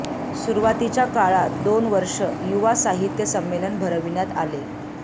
सुरुवातीच्या काळात दोन वर्षे युवा साहित्य संमेलन भरविण्यात आले